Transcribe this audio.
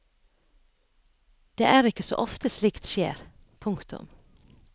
Det er ikke så ofte slikt skjer. punktum